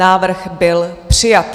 Návrh byl přijat.